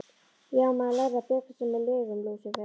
Já, maður lærði að bjarga sér með lygum Lúsífers.